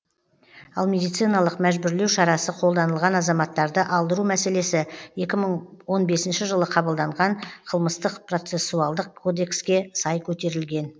ал медициналық мәжбүрлеу шарасы қолданылған азаматтарды алдыру мәселесі екі мың он бесінші жылы қабылданған қылмыстық процессуалдық кодекске сай көтерілген